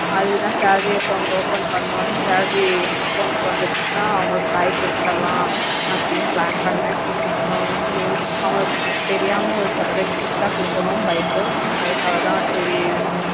அதுகுத்த salary account open பண்ண ஒனே salary account கு வந்துச்சின்னா அவங்களுக்கு ஒரு bike எடுத்துரல அப்படினு plan பண்ண ஹம் அவங்களுக்கு தெரியுமா superise gift ஆஹ் குடுக்கணும் bike கு அதுக்காகத்தா சரி